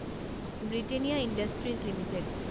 Britannia Industries limited